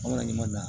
An ka ɲuman na